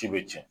Ci be cɛn